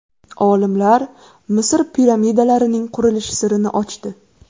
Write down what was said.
Olimlar Misr piramidalarining qurilish sirini ochdi.